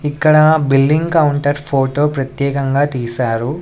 ఇక్కడ billing counter photo ప్రత్యేకంగా తీశారు.